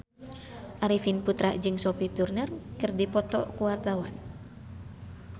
Arifin Putra jeung Sophie Turner keur dipoto ku wartawan